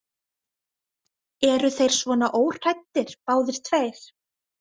Eru þeir svona óhræddir, báðir tveir?